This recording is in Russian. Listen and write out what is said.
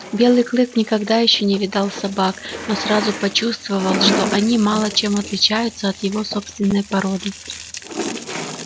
белый клык никогда ещё не видал собак но сразу почувствовал что они мало чем отличаются от его собственной породы